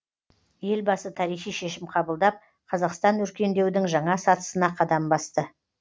елбасы тарихи шешім қабылдап қазақстан өркендеудің жаңа сатысына қадам басты